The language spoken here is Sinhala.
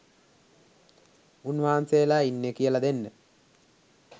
උන් වහන්සේලා ඉන්නෙ කියල දෙන්න